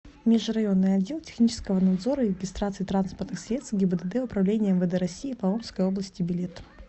межрайонный отдел технического надзора и регистрации транспортных средств гибдд управления мвд россии по омской области билет